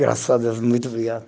Graças a Deus, muito obrigado.